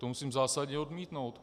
To musím zásadně odmítnout.